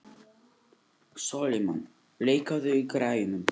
Sólimann, lækkaðu í græjunum.